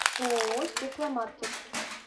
ооо стекломаркет